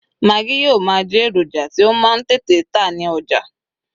Maggi yíò ma je eroja ti o ma n tete ta ní ọjà